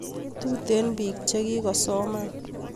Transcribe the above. tuten pik che chnga che kikosoman